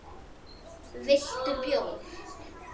Viltu bjór?